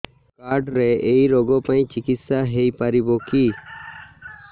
card ରେ ଏଇ ରୋଗ ପାଇଁ ଚିକିତ୍ସା ହେଇପାରିବ କି